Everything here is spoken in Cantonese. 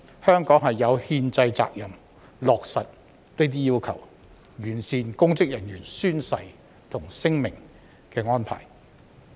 香港有憲制責任落實這些要求，完善公職人員宣誓和聲明的安排。